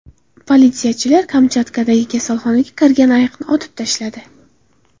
Politsiyachilar Kamchatkadagi kasalxonaga kirgan ayiqni otib tashladi.